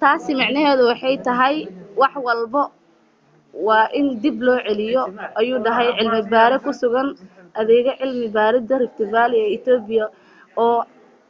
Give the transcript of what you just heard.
taasi micneheedu waxay tahay wax walbo waa in dib loo celiyo ayuu dhahay cilmi baare ku sugan adeega cilmi baaridda rift valley ee ethiopia oo